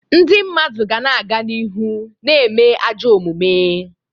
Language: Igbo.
Ndị mmadụ ga na-aga n'ihu na-eme ajọ omume.